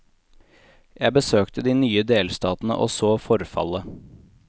Jeg besøkte de nye delstatene og så forfallet.